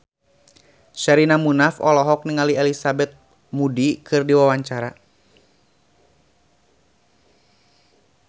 Sherina Munaf olohok ningali Elizabeth Moody keur diwawancara